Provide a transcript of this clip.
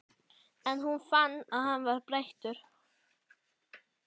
En hún fann að hann var breyttur.